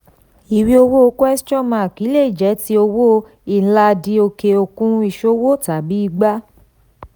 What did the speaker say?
ìwé owó lè jẹ́ ti owó inland òkè òkun ìṣòwò tàbí ìgbà.